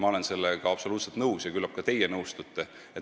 Ma olen sellega absoluutselt nõus ja küllap ka teie nõustute.